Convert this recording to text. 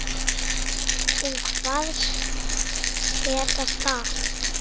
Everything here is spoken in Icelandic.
Hún kvaðst geta það.